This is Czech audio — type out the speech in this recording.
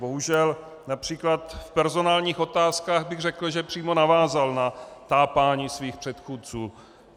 Bohužel například v personálních otázkách bych řekl, že přímo navázal na tápání svých předchůdců.